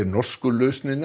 norsku lausnina